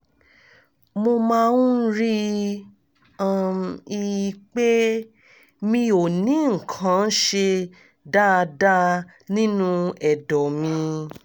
mo máa ń rí um i pé mi ò ní nǹkan ṣe dáadáa nínú ẹ̀dọ̀ mi